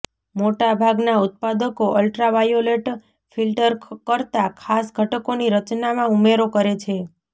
મોટા ભાગનાં ઉત્પાદકો અલ્ટ્રાવાયોલેટ ફિલ્ટર કરતા ખાસ ઘટકોની રચનામાં ઉમેરો કરે છે